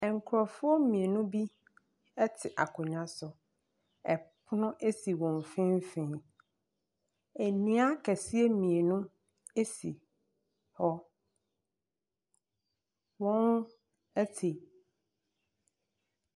Nkurɔfoɔ mmienu bi te akonnwa so, pono si wɔn mfimfin, nnua akɛseɛ mmienu si hɔ. Wɔte .